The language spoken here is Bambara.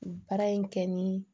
Baara in kɛ ni